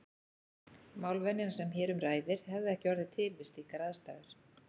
Málvenjan sem hér um ræðir hefði ekki orðið til við slíkar aðstæður.